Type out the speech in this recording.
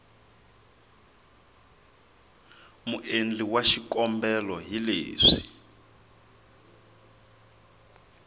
muendli wa xikombelo hi leswi